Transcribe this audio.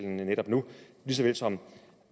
netop nu lige så vel som